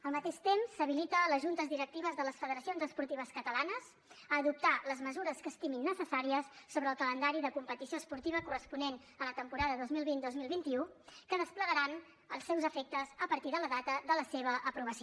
al mateix temps s’habilita les juntes directives de les federacions esportives catalanes a adoptar les mesures que estimin necessàries sobre el calendari de competició esportiva corresponent a la temporada dos mil vint dos mil vint u que desplegaran els seus efectes a partir de la data de la seva aprovació